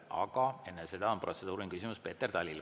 Aga enne seda on protseduuriline küsimus Peeter Talil.